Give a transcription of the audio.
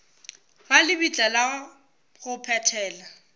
ga lebitla la go phethela